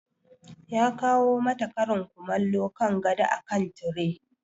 Ya kawo mata karin kumallo kan gado akan tire.